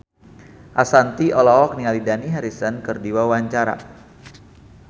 Ashanti olohok ningali Dani Harrison keur diwawancara